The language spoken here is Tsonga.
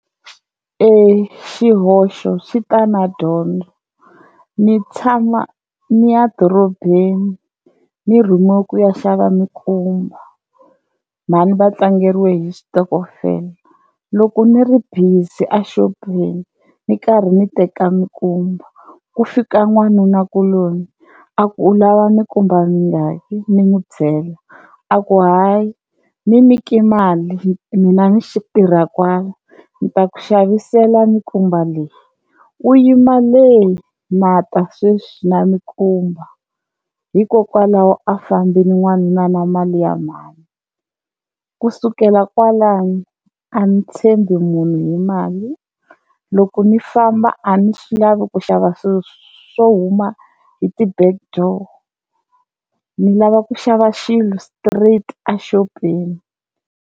Xihoxo xi ta na dyondzo ni tshama ni ya dorobeni ni rhumiwe ku ya xava minkumba mhani va tlangeriwe hi xitokofela loko ni ri busy a xopeni ni karhi ni teka nkumba ku fika n'wanuna kuloni a ku u lava minkumba yingaki ni n'wi byela, a ku hayi ni nyike mali mina ni xitirha kwala ni ta ku xavisela minkumba leyi u yima le na ta sweswi na minkumba, hikokwalaho a fambini n'wanuna na mali ya mhani kusukela kwalano a ni tshembi munhu ni mali loko ni famba a ni swi lavi ku xava swilo swo huma hi ti-back door, ni lava ku xava xilo straight a xopeni.